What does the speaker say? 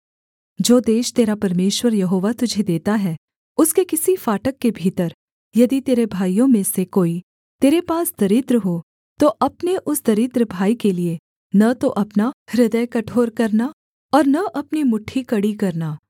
जो देश तेरा परमेश्वर यहोवा तुझे देता है उसके किसी फाटक के भीतर यदि तेरे भाइयों में से कोई तेरे पास दरिद्र हो तो अपने उस दरिद्र भाई के लिये न तो अपना हृदय कठोर करना और न अपनी मुट्ठी कड़ी करना